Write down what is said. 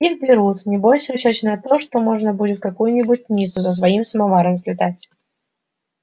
их берут небось в расчёте на то что можно будет в какую-нибудь ниццу со своим самоваром слетать